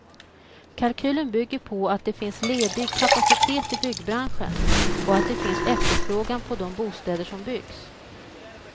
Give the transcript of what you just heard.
Kalkylen bygger på att det finns ledig kapacitet i byggbranschen och att det finns efterfrågan på de bostäder som byggs.